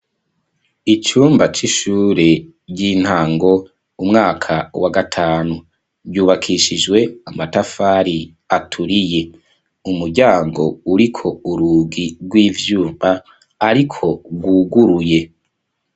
Icumba c'ishure ry'intango umwaka wa gatanu ryubakishijwe amatafari aturiye umuryango uriko urugi rw'ivyumba, ariko rwuguruye.